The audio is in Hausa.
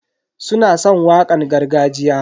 Suna san wakan gargajiya.